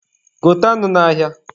Gote anụ n'ahịa.